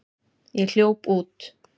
Ég hljóp út.